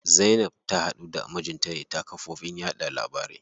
Zainab ta haɗu da mijinta ne ta kafofin yaɗa labarai.